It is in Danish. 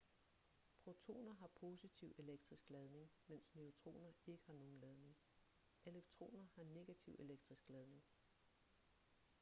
protoner har positiv elektrisk ladning mens neutroner ikke har nogen ladning elektroner har negativ elektrisk ladning